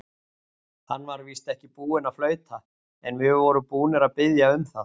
Hann var víst ekki búinn að flauta, en við vorum búnir að biðja um það.